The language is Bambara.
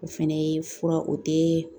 O fɛnɛ ye fura o tɛ